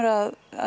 að